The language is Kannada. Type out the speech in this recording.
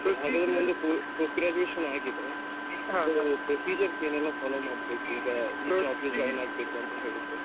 ಹಾಗಾದ್ರೆ ನಂದು po~ post graduation ಆಗಿದೆ so procedures ಏನೆಲ್ಲ follow ಮಾಡ್ಬೇಕು ಈಗ ಈ job ಗೆ join ಆಗ್ಬೇಕ್ ಅಂತ ಹೇಳಿದ್ರೆ .